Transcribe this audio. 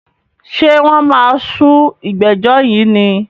Ṣé wọ́n máa sú ìgbẹ́jọ́ yìí ni?